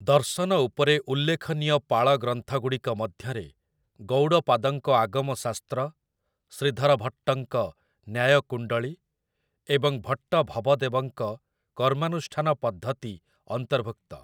ଦର୍ଶନ ଉପରେ ଉଲ୍ଲେଖନୀୟ ପାଳ ଗ୍ରନ୍ଥଗୁଡ଼ିକ ମଧ୍ୟରେ ଗୌଡ଼ପାଦଙ୍କ ଆଗମ ଶାସ୍ତ୍ର, ଶ୍ରୀଧର ଭଟ୍ଟଙ୍କ ନ୍ୟାୟ କୁଣ୍ଡଳୀ ଏବଂ ଭଟ୍ଟ ଭବଦେବଙ୍କ କର୍ମାନୁଷ୍ଠାନ ପଦ୍ଧତି ଅନ୍ତର୍ଭୁକ୍ତ ।